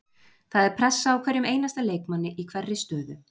Það er pressa á hverjum einasta leikmanni í hverri stöðu.